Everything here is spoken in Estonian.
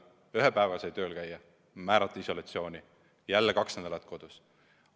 Ühe päeva sai tööl käia, määrati isolatsiooni, jälle kaks nädalat kodus.